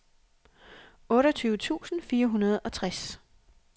otteogtyve tusind fire hundrede og tres